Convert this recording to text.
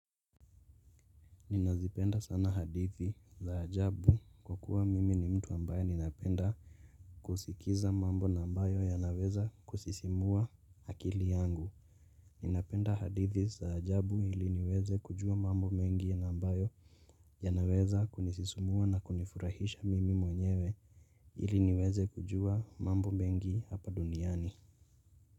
Ninazipenda sana hadithi za ajabu kwa kuwa mimi ni mtu ambaye ninapenda kusikiza mambo na ambayo yanaweza kusisimua akili yangu Ninapenda hadithi zaajabu ili niweze kujua mambo mengi ya mbayo yanaweza kunisisimua na kunifurahisha mimi mwenyewe ili niweze kujua mambo mengi hapa duniani.